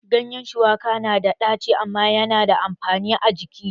Ganyen shuwaka na da ɗaci amma ya na da amfani a jiki